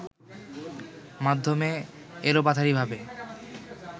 মাধ্যমে এলোপাতাড়ি ভাবে